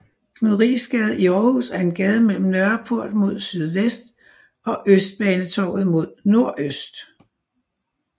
Knudrisgade i Aarhus er en gade mellem Nørreport mod sydvest og Østbanetorvet mod nordøst